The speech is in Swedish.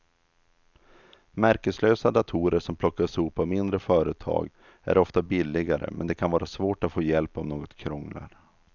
Märkeslösa datorer som plockas ihop av mindre företag är ofta billigare men det kan vara svårt att få hjälp om något krånglar.